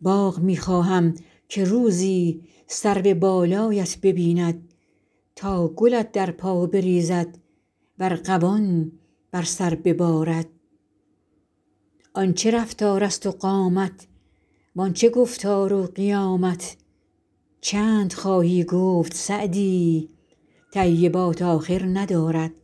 باغ می خواهم که روزی سرو بالایت ببیند تا گلت در پا بریزد و ارغوان بر سر ببارد آن چه رفتارست و قامت وان چه گفتار و قیامت چند خواهی گفت سعدی طیبات آخر ندارد